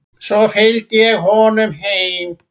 Svo fylgdi ég honum heim.